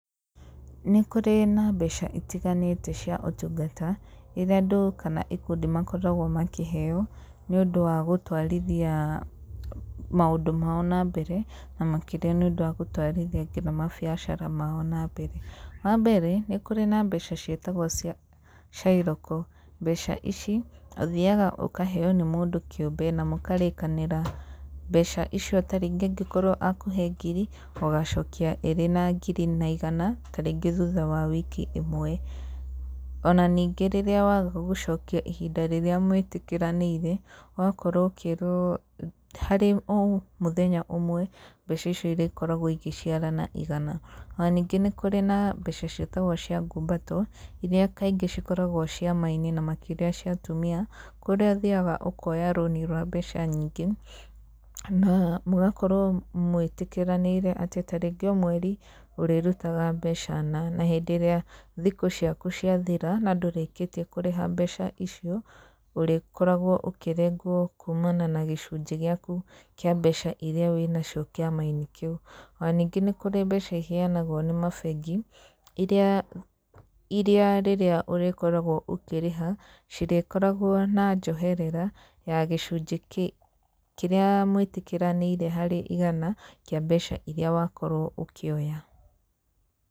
Nĩ kũrĩ na mbeca itiganĩte cia ũtungata, iria andũ kana ikundi makoragwo makĩheo, nĩ ũndũ wa gũtwarithia maũndũ mao nambere na makĩria nĩũndũ wa gũtwarithia nginya mabiacara mao nambere, wambere nĩ kũrĩ na mbeca ciĩtagwo cia cairoko, mbaca ici, ũthiaga ũkaheo nĩ mũndũ kĩũmbe na mũkarĩkanĩra mbeca icio ta rĩngĩ angĩkorwo akũhe ngiri, ũgacokia ĩrĩ na ngiri na igana, ta rĩngĩ thutha wa wiki ĩmwe, ona ningĩ rĩrĩa waga gũcokia ihinda rĩrĩa mwĩtĩkĩranĩire, ũgakorwo ũkĩirwo harĩ o mũthenya ũmwe, mbeca icio irĩkoragwo ĩgĩciara na igana, ona ningĩ nĩ kũrĩ na mbeca ciĩtagwo cia ngumbato, iria kaingĩ ikoragwo ciama-inĩ cia atumia, kũrĩa ũthiaga ũkoya rũni rwa mbeca nyingĩ na mũgakorwo mwĩtĩkĩranĩire atĩ ta rĩngĩ o mweri ũrĩrutaga mbeca na, na hĩndĩ ĩrĩa thikũ ciaku ciathira na ndũrĩkĩtie kũrĩha mbeca icio, ũrĩkoragwo ũkĩrengwo kuumana na gĩcunjĩ gĩaku kĩa mbeca iria wĩnacio kĩama-inĩ kĩu, ona ningĩ nĩ kũrĩ mbeca iheanagwo nĩ mabengi, iria rĩrĩa ũrĩkoragwo ũkĩrĩha, cirĩkoragwo na njoherera, ya gĩcunjĩ kĩrĩa mwĩtĩkĩranĩire harĩ igana kĩa mbeca iria wakorwo ũkĩoya.